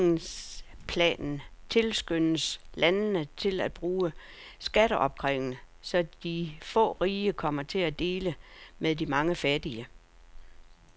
I handlingsplanen tilskyndes landene til at bruge skatteopkrævning, så de få rige kommer til at dele med de mange fattige.